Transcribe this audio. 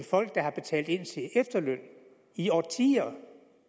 folk der har betalt ind til en efterløn i årtier